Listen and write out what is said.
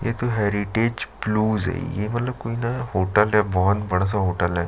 एक heritage blues ये वाला कोई ना होटल है बहोत बड़ा सा होटल है।